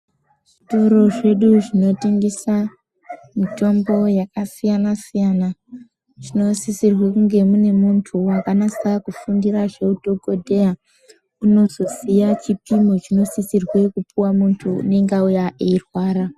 Zvitoro zvedu zvinotengesa mitombo yakasiyana siyana zvinosirwe kunge mune muntu wakanasa kufundira zveudhokodheya unozoziye chipimo sisirwe kupuwa muntu unenge auya eyi rwara.